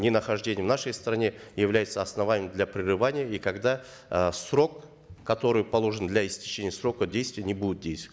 ненахождение в нашей стране является основанием для прерывания и когда э срок который положен для истечения срока действия не будет